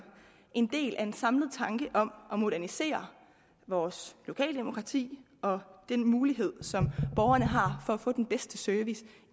en del af en samlet tanke om at modernisere vores lokaldemokrati og den mulighed som borgerne har for at få den bedste service